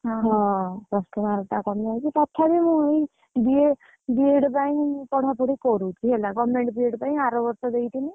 ହଁ, Plus two mark କମିଯାଇଛି ତଥାପି ମୁଁ ଇଏ, BEd ପାଇଁ ପଢାପଢି କରୁଛି ହେଲା government BEd ପାଇଁ ଆର ବର୍ଷ ଦେଇଥିଲି।